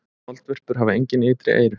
Moldvörpur hafa engin ytri eyru.